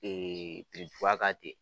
birintuban kan ten